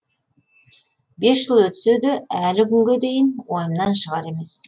бес жыл өтсе де әлі күнге дейін ойымнан шығар емес